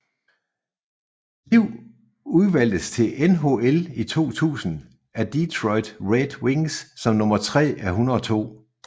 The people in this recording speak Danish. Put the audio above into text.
Liv udvalgtes til NHL i 2000 af Detroit Red Wings som nummer 3 af 102